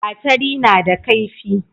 gatari na da kaifi